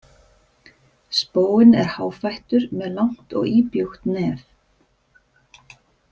Spóinn er háfættur með langt og íbjúgt nef.